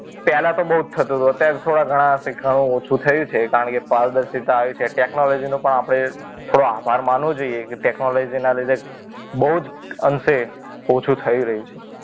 પહેલા તો બહુ જ થતું તું અત્યારે તો થોડા ઘણા અંશે ઓછું થયું છે કારણ કે પારદર્શિતા આવી છે ટેકનોલોજી નો પણ આપણે થોડો આભાર માનવો જોઈએ ટેકનોલોજીના લીધે બહુ જ અંશે ઓછું થઈ રહ્યું છે.